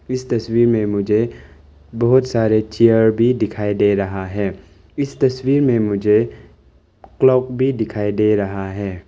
इस तस्वीर में मुझे बहुत सारे चेयर भी दिखाई दे रहा है इस तस्वीर में मुझे क्लॉक भी दिखाई दे रहा है।